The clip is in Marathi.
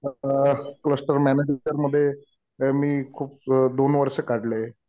आता क्लस्टर मॅनुफॅक्चर मध्ये मी खूप दोन वर्ष काढले.